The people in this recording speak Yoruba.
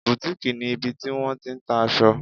Boutique' ni ibi tí wọ́n ti n ta aṣọ